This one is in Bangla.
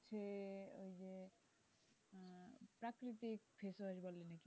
প্রাকৃতিক ফেসওয়াশ বলে নাকি,